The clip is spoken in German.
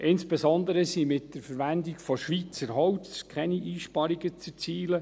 Insbesondere sind mit der Verwendung von Schweizer Holz keine Einsparungen zu erzielen.